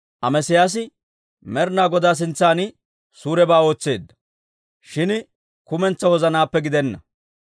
Amesiyaasi Med'inaa Godaa sintsan suurebaa ootseedda; shin kumentsaa wozanaappe gidenna.